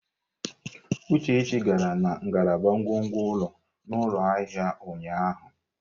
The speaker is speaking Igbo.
Uchechi gara na ngalaba ngwongwo ụlọ n'ụlọ ahịa ụnyaahụ.